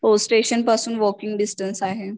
हो स्टेशन पासून walking distance आहे